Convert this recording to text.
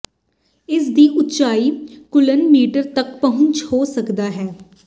ਇਸ ਦੀ ਉਚਾਈ ਕੁਲ੍ਲ ਮੀਟਰ ਤੱਕ ਪਹੁੰਚਣ ਹੋ ਸਕਦਾ ਹੈ